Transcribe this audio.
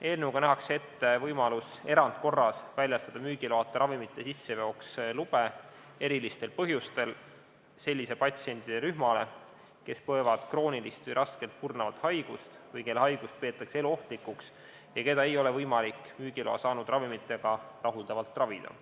Eelnõuga nähakse ette võimalus erandkorras väljastada müügiloata ravimite sisseveoks lube erilistel põhjustel sellisele patsientide rühmale, kes põevad kroonilist või raskelt kurnavat haigust või kelle haigust peetakse eluohtlikuks ja keda ei ole võimalik müügiloa saanud ravimitega rahuldavalt ravida.